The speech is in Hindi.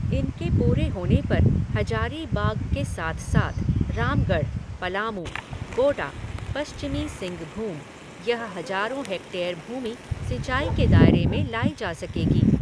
इनके पूरे होने पर हजारीबाग के साथ साथ रामगढ़, पलामू, गोडा, पश्चिमी सिंघभूम, यह हजारों हेक्टेयर भूमि सिंचाई के दायरे में लाई जा सकेगी।